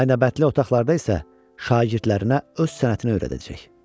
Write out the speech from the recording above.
Aynabəndli otaqlarda isə şagirdlərinə öz sənətini öyrədəcək.